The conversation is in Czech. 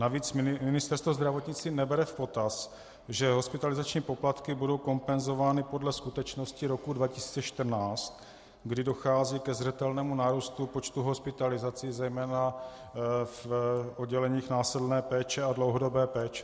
Navíc Ministerstvo zdravotnictví nebere v potaz, že hospitalizační poplatky budou kompenzovány podle skutečnosti roku 2014, kdy dochází ke zřetelnému nárůstu počtu hospitalizací, zejména v odděleních následné péče a dlouhodobé péče.